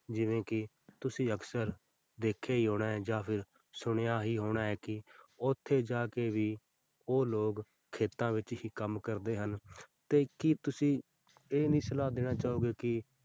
ਜਿਵੇਂ ਕਿ ਤੁਸੀਂ ਅਕਸਰ ਦੇਖਿਆ ਹੀ ਹੋਣਾ ਹੈ ਜਾਂ ਫਿਰ ਸੁਣਿਆ ਹੀ ਹੋਣਾ ਹੈ ਕਿ ਉੱਥੇ ਜਾ ਕੇ ਵੀ ਉਹ ਲੋਕ ਖੇਤਾਂ ਵਿੱਚ ਹੀ ਕੰਮ ਕਰਦੇ ਹਨ ਤੇ ਕੀ ਤੁਸੀਂ ਇਹ ਨੀ ਸਲਾਹ ਦੇਣਾ ਚਾਹੋਗੇ ਕਿ